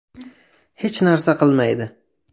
Hech narsa qilmaydi.